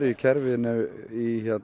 í kerfinu í